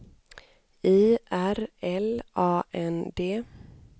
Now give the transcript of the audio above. I R L A N D